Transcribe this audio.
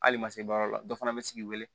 Hali ma se baara la dɔ fana bɛ sigi wele